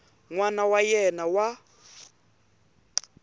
n wana wa yena wa